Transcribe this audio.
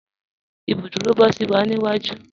Ibùdúrò bọ̀sí wa ni iwaju.